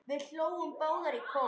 Við hlógum báðar í kór.